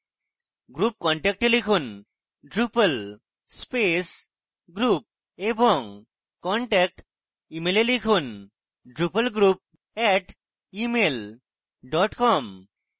group contact এ লিখুন: drupal space group এবং contact email এ লিখুন drupalgroup @email com